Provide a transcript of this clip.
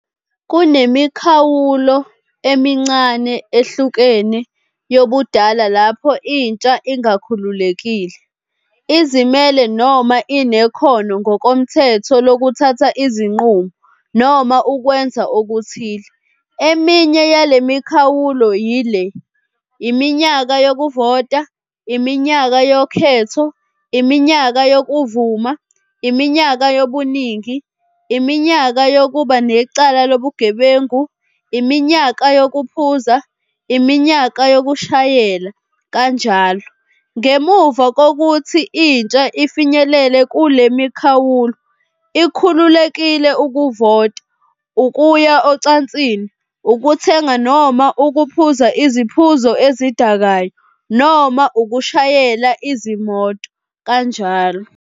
Kunemikhawulo emincane ehlukene yobudala lapho intsha ingakhululekile, izimele noma inekhono ngokomthetho lokuthatha izinqumo noma ukwenza okuthile. Eminye yale mikhawulo yile- iminyaka yokuvota, iminyaka yokhetho, iminyaka yokuvuma, iminyaka yobuningi, iminyaka yokuba necala lobugebengu, iminyaka yokuphuza, iminyaka yokushayela, njll. Ngemuva kokuthi intsha ifinyelele kule mikhawulo ikhululekile ukuvota, ukuya ocansini, ukuthenga noma ukuphuza iziphuzo ezidakayo noma ukushayela izimoto, njll.